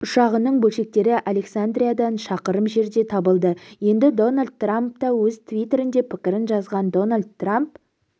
ұшағының бөлшектері александриядан шақырым жерден табылды енді дональд трамп та өз твиттерінде пікірін жазған дональд трамп